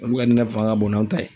Olu ka nɛnɛ fanga ka bon n'an ta ye.